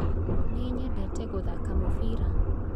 nĩnyendete kuthaka mubiira